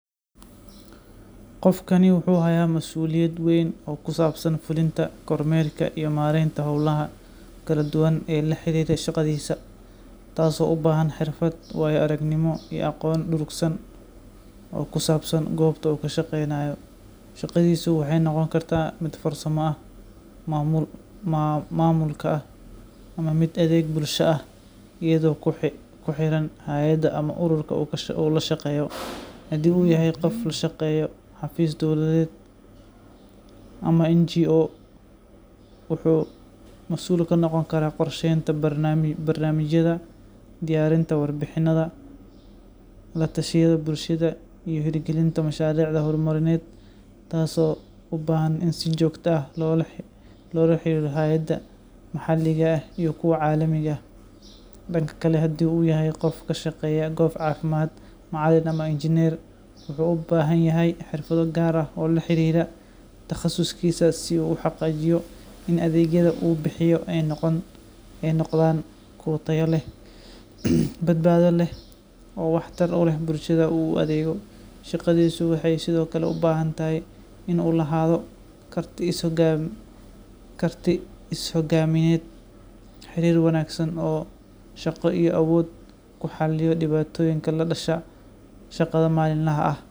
Qofakani wuxu haya masuliyad weyn o kusabsan fuulinta kormerka iyo maareynta howlaha kaladuwan e laxarirta shaqadisa. Taas o u bahan xerfad waayo aragnimo iyo aqoon dhurugsan o kusabsan gobta u kashaqeynayo shaqadisu waxay noqon karta mid farsama ah mamuulka ah ama mid adheg bulsha ah iyado kuxeran hayada ama uruurka u lashaqeyo hadi u yahay qof u shaqeeyo xafis dowladeed aman NGO. Wuxu masuul kanoqon kara qorsheynta barmamijyada diyarinta warbixinayada latshayado bulshada hergalinta masharicda hormarineed. Tas o ubahan in si jogta ah lola xeriro hayada maxaaliga ah iyo kuwa calimiiga ah danka kala hadi u yahay qof kashaqeya koob Cafimad ama Rngineer u bahanyahay xrifada laxarira taqasuskisa si u xaqijiyo in adegyadu wu bixiyo ay noqdan kuwa taya badbada leh o tar uu leh bulshada u adego shaqadisu waxay sido kale ubahanyahay waxay tahay in u lahaado karti is hogamiya xeriri wanagsan o shaqa iyo awood kuxaliyo dipatoyinka kadasha shaqada malin laha.